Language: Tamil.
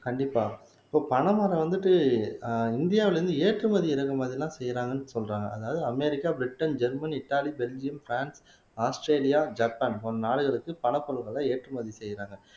கண்டிப்பா இப்போ பனைமரம் வந்துட்டு ஆஹ் இந்தியாவிலே இருந்து ஏற்றுமதி இறக்குமதி எல்லாம் செய்யறாங்கன்னு சொல்றாங்க அதாவது America Britain German Italy Belgium France Australia Japan போன்ற நாடுகளுக்கு பனைப்பொருட்களை ஏற்றுமதி செய்யறாங்க